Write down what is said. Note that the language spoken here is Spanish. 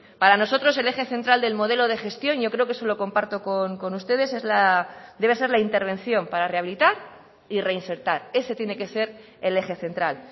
para nosotros el eje central del modelo de gestión yo creo que eso lo comparto con ustedes debe ser la intervención para rehabilitar y reinsertar ese tiene que ser el eje central